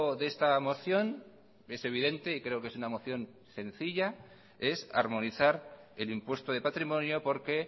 de esta moción es evidente y creo que es una moción sencilla es armonizar el impuesto de patrimonio porque